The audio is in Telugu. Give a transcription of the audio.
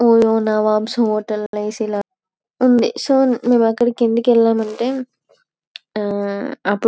ఓయో వంశీ హోటల్ అన్ని ఏసీ ఇలా ఉంది. సో మేము అక్కడకి ఏందుకు వెళము అంటే ఆ అప్పుడు--